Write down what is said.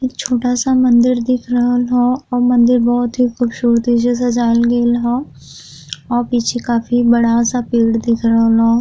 इ छोटा सा मंदिर दिख रहल हौ औ मंदिर बहुत ही खूबसूरती से सजायल गईल हौ औ पीछे काफी बड़ा सा पेड़ दिख रहल हौ।